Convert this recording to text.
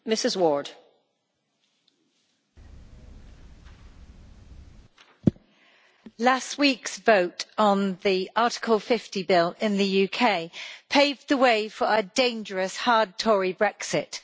Madam President, last week's vote on the Article 50 bill in the UK paved the way for a dangerous hard Tory Brexit.